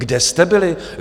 Kde jste byli?